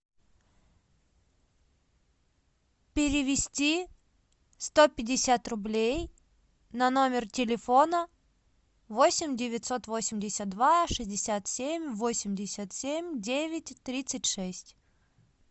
перевести сто пятьдесят рублей на номер телефона восемь девятьсот восемьдесят два шестьдесят семь восемьдесят семь девять тридцать шесть